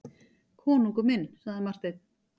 Konungur minn, sagði Marteinn.